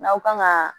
N'aw kan ka